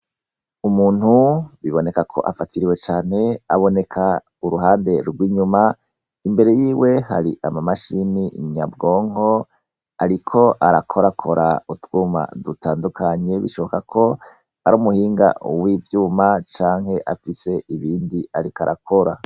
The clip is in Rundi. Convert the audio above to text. Umuntu biboneka ko afatiriwe cane aboneka uruhande rwinyuma imbere yiwe hari amamashine nyabwonko ariko arakorakora utwuma dutandukanye bishoboka ko ari umuhinga wivyuma canke afise ibindi ariko arakora